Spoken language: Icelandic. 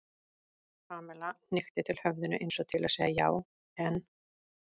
Pamela hnykkti til höfðinu eins og til að segja já, en.